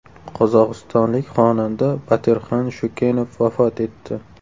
Qozog‘istonlik xonanda Batirxan Shukenov vafot etdi.